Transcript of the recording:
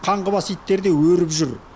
қаңғыбас иттер де өріп жүр